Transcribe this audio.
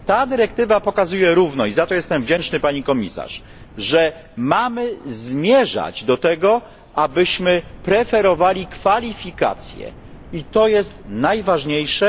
Ta dyrektywa pokazuje równo i za to jestem wdzięczny pani komisarz że mamy zmierzać do tego, abyśmy preferowali kwalifikacje, i to jest najważniejsze.